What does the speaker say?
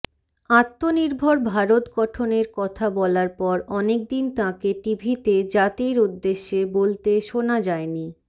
আত্মনির্ভর ভারত গঠনের কথা বলার পর অনেকদিন তাঁকে টিভিতে জাতির উদ্দেশ্যে বলতে শোনা যায়নি